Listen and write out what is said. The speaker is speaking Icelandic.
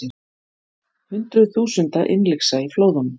Hundruð þúsunda innlyksa í flóðunum